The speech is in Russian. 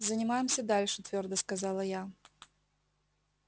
занимаемся дальше твёрдо сказала я